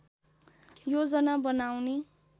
योजना बनाउने